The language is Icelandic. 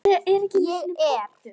Ég er